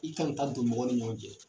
I ka na taa don mɔgɔ ni ɲɔgɔn cɛ